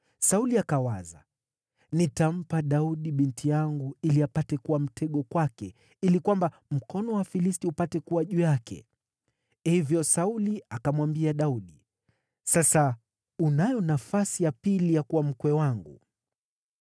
Sauli akawaza, “Nitampa Daudi binti yangu, ili apate kuwa mtego kwake, ili kwamba mkono wa Wafilisti upate kuwa juu yake.” Hivyo Sauli akamwambia Daudi, “Sasa unayo nafasi ya pili ya kuwa mkwe wangu.”